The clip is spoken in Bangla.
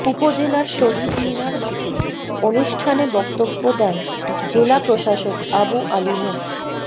উপজেলার শহীদ মিনার মাঠে অনুষ্ঠানে বক্তব্য দেন জেলা প্রশাসক আবু আলী মো